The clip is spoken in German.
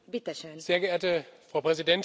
Sehr geehrte Frau Präsidentin!